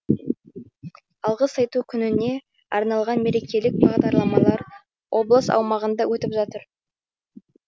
алғыс айту күніне арналған мерекелік бағдарламалар облыс аумағында өтіп жатыр